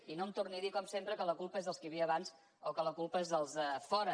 i no em torni a dir com sempre que la culpa és dels qui hi havia abans o que la culpa és dels de fora